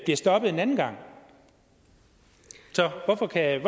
stoppet en anden gang så hvorfor kan